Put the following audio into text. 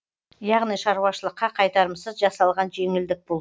яғни шаруашылыққа қайтарымсыз жасалған жеңілдік бұл